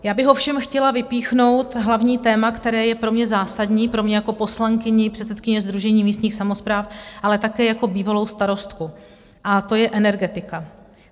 Já bych ovšem chtěla vypíchnout hlavní téma, které je pro mě zásadní, pro mě jako poslankyni, předsedkyni Sdružení místních samospráv, ale také jako bývalou starostku, a to je energetika.